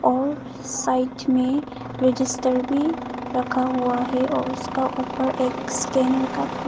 और साइड में रजिस्टर भी रखा हुआ है और उसका ऊपर एक स्कैनर का--